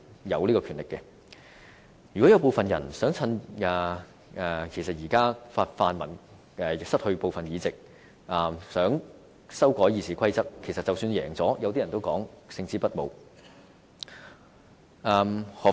如果有人想趁現在泛民失去部分議席而修改《議事規則》，即使贏了也會予人勝之不武的感覺。